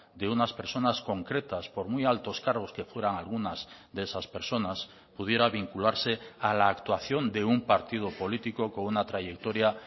de unas personas concretas por muy altos cargos que fueran algunas de esas personas pudiera vincularse a la actuación de un partido político con una trayectoria